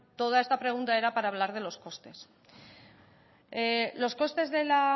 toda esta pregunta era para hablar de los costes los costes de la